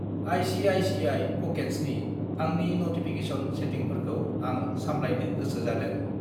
ICICI. प'केट्सनि आंनि notification सेथिंफोरखौ आं सामलायनो गोसो जादों।